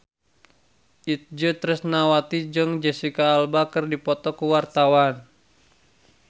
Itje Tresnawati jeung Jesicca Alba keur dipoto ku wartawan